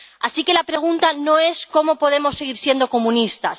Así que la pregunta no es cómo podemos seguir siendo comunistas.